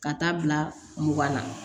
Ka taa bila mugan na